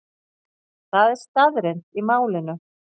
Það er staðreynd í málinu.